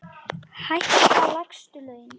Hækka lægstu laun.